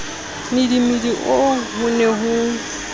mmidimidi oo ho ne ho